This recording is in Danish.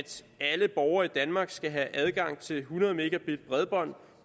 alle borgere i danmark skal have adgang til hundrede megabit bredbånd